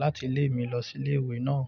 láti ilé mi lọ sí ilé ìwé náà.